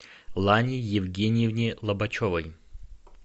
лане евгеньевне лобачевой